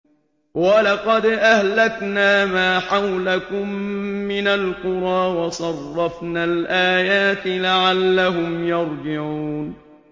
وَلَقَدْ أَهْلَكْنَا مَا حَوْلَكُم مِّنَ الْقُرَىٰ وَصَرَّفْنَا الْآيَاتِ لَعَلَّهُمْ يَرْجِعُونَ